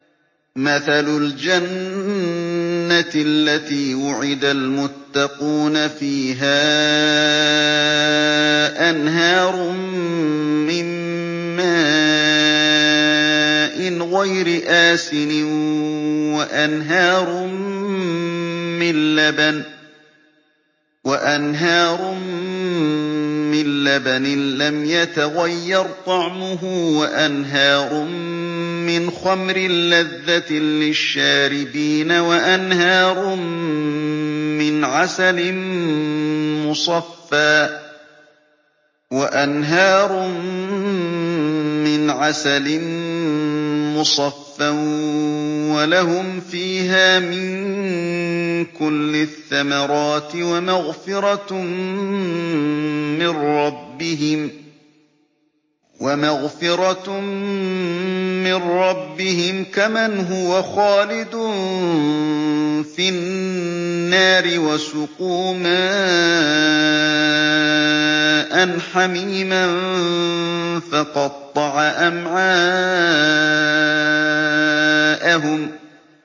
مَّثَلُ الْجَنَّةِ الَّتِي وُعِدَ الْمُتَّقُونَ ۖ فِيهَا أَنْهَارٌ مِّن مَّاءٍ غَيْرِ آسِنٍ وَأَنْهَارٌ مِّن لَّبَنٍ لَّمْ يَتَغَيَّرْ طَعْمُهُ وَأَنْهَارٌ مِّنْ خَمْرٍ لَّذَّةٍ لِّلشَّارِبِينَ وَأَنْهَارٌ مِّنْ عَسَلٍ مُّصَفًّى ۖ وَلَهُمْ فِيهَا مِن كُلِّ الثَّمَرَاتِ وَمَغْفِرَةٌ مِّن رَّبِّهِمْ ۖ كَمَنْ هُوَ خَالِدٌ فِي النَّارِ وَسُقُوا مَاءً حَمِيمًا فَقَطَّعَ أَمْعَاءَهُمْ